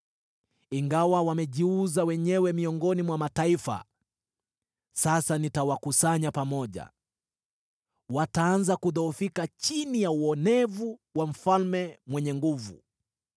Ingawa wamejiuza wenyewe miongoni mwa mataifa, sasa nitawakusanya pamoja. Wataanza kudhoofika chini ya uonevu wa mfalme mwenye nguvu.